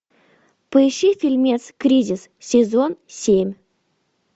поищи фильмец кризис сезон семь